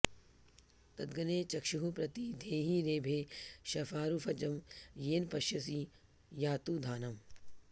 तदग्ने चक्षुः प्रति धेहि रेभे शफारुजं येन पश्यसि यातुधानम्